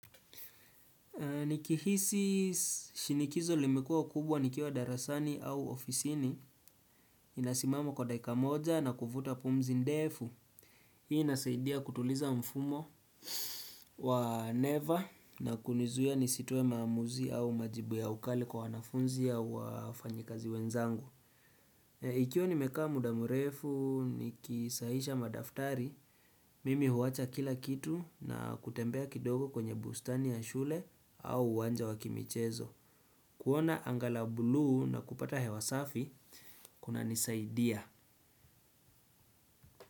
Niki hisi shinikizo limekuwa kubwa nikiwa darasani au ofisini, nina simama kwa dakika moja na kuvuta pumzi ndefu. Hii inasaidia kutuliza mfumo wa never na kunizuiya nisitoe maamuzi au majibu ya ukali kwa wanafunzi au wafanyikazi wenzangu. Ikiwa nimekaa muda murefu nikisahihisha madaftari, mimi huwacha kila kitu na kutembea kidogo kwenye bustani ya shule au uwanja wakimichezo. Kuona anga la buluu na kupata hewa safi, kuna nisaidia.